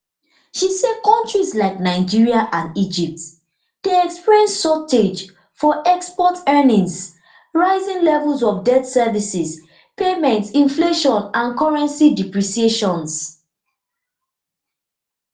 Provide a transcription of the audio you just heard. she say kontris like nigeria and egypt dey experience shortage for export earnings rising levels of debt service payments inflation and currency depreciations